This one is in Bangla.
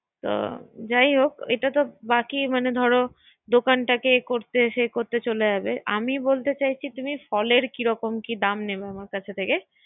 আচ্ছা, যাই হোক এটা বাকী মানে ধর দোকানটাকে এই করতে সেই করতে চলে যাবে। আমি বলতে চাইছি। তুমি ফলের কিরকম কি দাম নিবে?